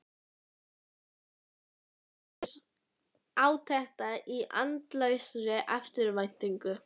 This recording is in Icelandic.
Síðan biðu þeir átekta í andlausri eftirvæntingu.